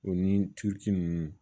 O ni tu nunnu